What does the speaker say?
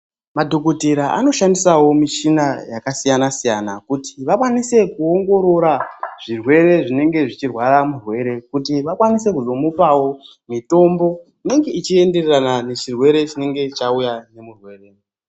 Madhokodheya anoshandisa mishina yakasiyana siyana kuti vakwanise kuoongorora matenda anenge aine mutenda uye vakwanise kumupa mutombo unoenderana nedenda rakwe